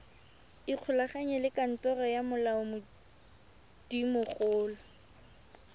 ikgolaganye le kantoro ya molaodimogolo